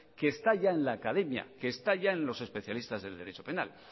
que está ya en la academia que está ya en los especialistas del derecho penal